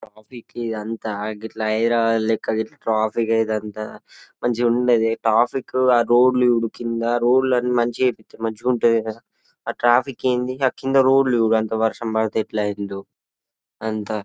Traffic ఇదంతా గిట్ల హైదరాబాద్ లెక్క గిట్ల ట్రాఫిక్ అదే ఇదంతా మంచి గుండుద్ది ట్రాఫిక్ ఆ రోడ్లు చూడు కింద రోడ్లన్నీ మంచిగా చెపితే మంచిగా ఉంటది కదా ఆ ట్రాఫిక్ ఏంది ఆ కింద రోడ్లు చూడు అంత వర్షం పడితే ఎట్లా అయిందో అంత.